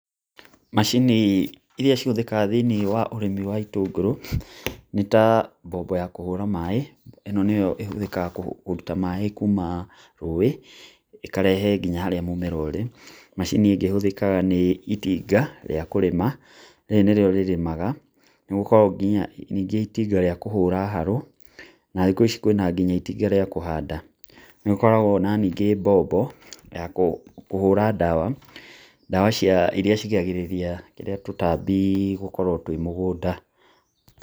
Macini irĩa cihuthikaga thĩinĩ wa ũrĩmi wa itũngũrũ, nĩ ta mbombo ya kũhura maĩ, ĩno nĩyo ĩhuthĩkaga kũruta maĩ kuma rũĩ ĩkarehe nginya haria mũmera ũrĩ, macini ingĩ ihuthĩkaga nĩ itinga rĩa kũrĩma, rĩrĩ nĩ rĩo rĩrĩmaga nĩgũkorwo ningĩ itinga rĩa kũhũra harũ na thikũ ici kwĩna gĩnya itinga rĩa kũhanda, nĩgũkoragwo ningĩ mbombo ya kũhũra dawa, dawa irĩa cigĩragĩraria tũtambi gũkorwo twĩ mũgũnda.